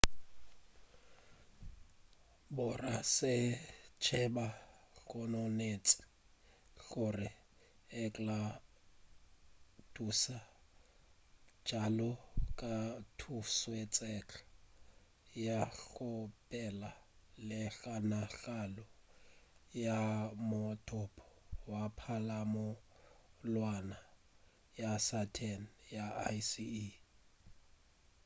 borasaentsheba gononetše gore enceladusa bjalo ka thutosweka ya go phela le kgonagalo ya mothopo wa palamonwana ya saturn ya icy e